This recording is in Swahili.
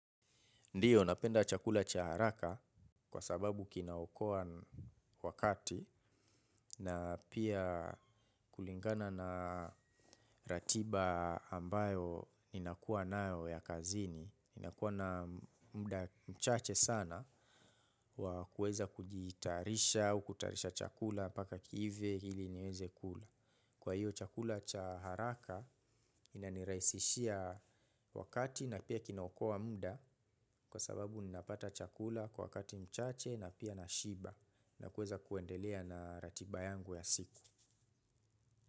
Ndiyo napenda chakula cha haraka kwa sababu kinaokoa wakati na pia kulingana na ratiba ambayo ninakuwa nayo ya kazini. Ni nakuwa na muda mchache sana wa kuweza kujitayarisha au kutayarisha chakula mpaka kiive ili niweze kula. Kwa hiyo chakula cha haraka inanirahisishia wakati na pia kinaokoa muda kwa sababu ninapata chakula kwa wakati mchache na pia nashiba na kuweza kuendelea na ratiba yangu ya siku.